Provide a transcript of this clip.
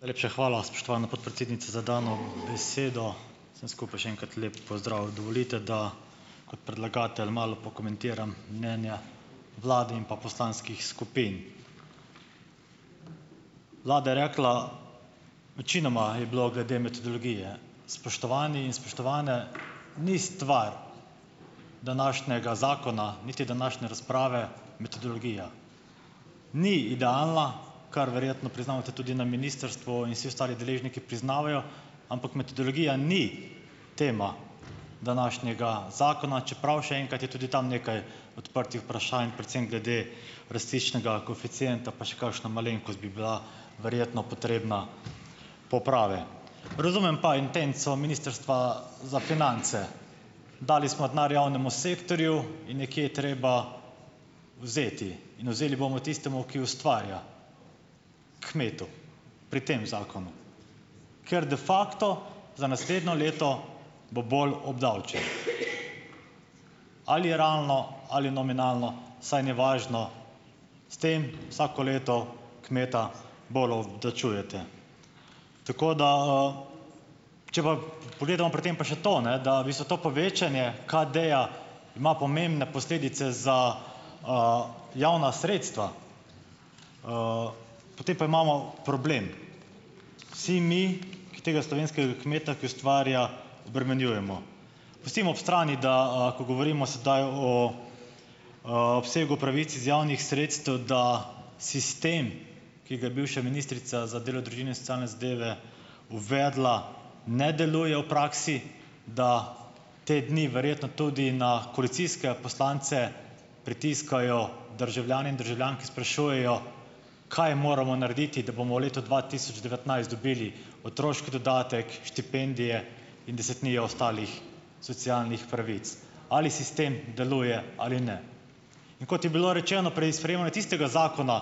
Najlepša hvala, spoštovana podpredsednica za dano besedo! Še enkrat lep pozdrav vsem skupaj! Dovolite, da kot predlagatelj malo pokomentiram mnenja vlade in pa poslanskih skupin. Vlada je rekla, večinoma je bilo glede metodologije. Spoštovani in spoštovane, ni stvar današnjega zakona, niti današnje razprave, metodologija. Ni idealna, kar verjetno priznavate tudi na ministrstvu in vsi ostali deležniki priznavajo, ampak metodologija ni tema današnjega zakona, čeprav, še enkrat, je tudi tam nekaj odprtih vprašanj, precej glede rastiščnega koeficienta, pa še kakšna malenkost bi bila verjetno potrebna poprave. Razumem pa intenco Ministrstva za finance. Dali smo denar javnemu sektorju in nekje je treba vzeti in vzeli bomo tistemu, ki ustvarja, kmetu, pri tem zakonu, ker de facto za naslednje leto, bo bolj obdavčen. Ali je realno ali nominalno, saj ni važno, s tem vsako leto kmeta bolj obdavčujete. Tako da, če pa pogledamo pri tem pa še to, ne, da v bistvu to povečanje KADE-ja ima pomembne posledice za javna sredstva, potem pa imamo problem, vsi mi, ki tega slovenskega kmeta, ki ustvarja, obremenjujemo. Pustimo ob strani, da, ko govorimo sedaj o obsegu pravic iz javnih sredstev, da sistem, ki ga ja bivša ministrica za delo, družino in socialne zadeve uvedla, ne deluje v praksi, da te dni verjetno tudi na koalicijske poslance pritiskajo, državljani in državljanke sprašujejo, kaj moramo narediti, da bomo v letu dva tisoč devetnajst dobili otroški dodatek, štipendije in desetnijo ostalih socialnih pravic? Ali sistem deluje ali ne? In kot je bilo rečeno pri sprejemanju tistega zakona,